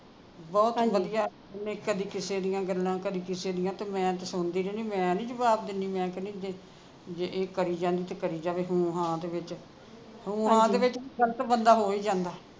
ਬਹੁਤ ਵਧੀਆ ਕਦੀ ਕਿਸੇ ਦੀਆਂ ਗੱਲਾਂ ਕਦੀ ਕਿਸੇ ਦੀਆਂ ਤੇ ਮੈਂ ਤੇ ਸੁਣਦੀ ਰਹਿਣੀ ਆ ਮੈਂ ਨਹੀਂ ਜਵਾਬ ਦਿੰਨੀ ਮੈਂ ਕਹਿਣੀ ਜੇ ਜੇ ਇਹ ਕਰਿ ਜਾਂਦੇ ਤੇ ਕਰਿ ਜਾਵੇ ਹੂੰ ਹਾਂ ਦੇ ਵਿਚ ਹੂੰ ਹਾਂ ਦੇ ਵਿਚ ਵੀ ਗਲਤ ਬੰਦਾ ਹੋ ਹੀ ਜਾਂਦਾ